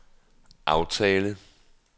aftale